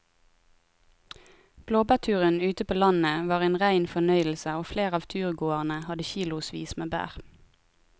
Blåbærturen ute på landet var en rein fornøyelse og flere av turgåerene hadde kilosvis med bær.